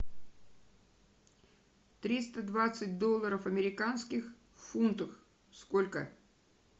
триста двадцать долларов американских в фунтах сколько